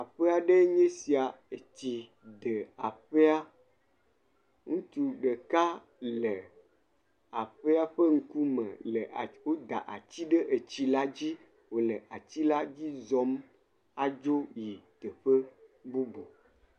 Aƒe aɖee nye esia. Etsi ɖe aƒea. Ŋutsu ɖeka le aƒea ƒe ŋkume le woda atsi ɖe etsi la dzi o le atsi la dzi zɔm adzo yi teƒe bubu.